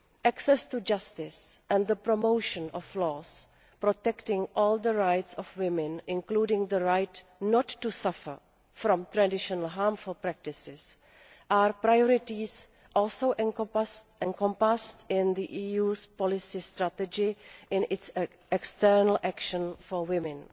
Access to justice and the promotion of laws protecting all the rights of women, including the right not to suffer from traditional harmful practices, are priorities also encompassed in the EUʼs policy strategy in its external action for women.